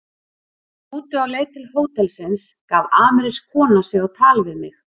Í rútu á leið til hótelsins gaf amerísk kona sig á tal við mig.